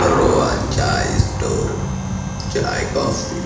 Rohan chai store chai coffee --